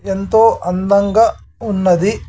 ఎంతో అందంగా ఉన్నది .